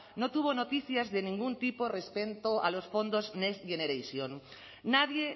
no tuvo noticias de ningún tipo respecto a los fondos next generation nadie